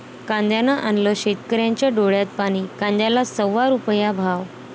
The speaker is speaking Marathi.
कांद्यानं आणलं शेतकऱ्यांच्या डोळ्यात पाणी, कांद्याला सव्वा रुपया भाव!